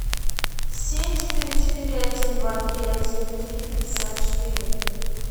семь четыре четыре один два три один три пятьдесят четыре